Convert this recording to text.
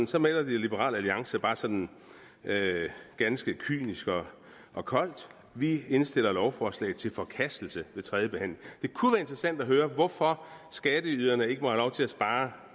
så meddeler liberal alliance bare sådan ganske kynisk og koldt vi indstiller lovforslaget til forkastelse ved tredje behandling det kunne være interessant at høre hvorfor skatteyderne ikke må få lov til at spare